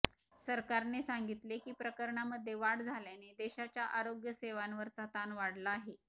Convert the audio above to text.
सरकारने सांगितले की प्रकरणांमध्ये वाढ झाल्याने देशाच्या आरोग्य सेवांवरचा ताण वाढला आहे